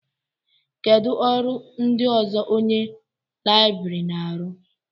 Kedu ọrụ ndị ọzọ onye Libèrián na-arụ?